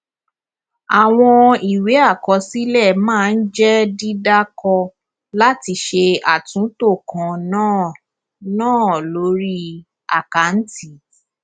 àwọn ìwé àkọsílẹ máa ń jẹ dídàkọ láti ṣe àtúntò kan náà náà lórí àkáǹtì